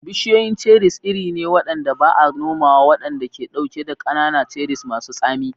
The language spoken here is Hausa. Bishiyoyin cherries iri ne waɗanda ba a nomawa waɗanda ke ɗauke da ƙanana, cherries masu tsami.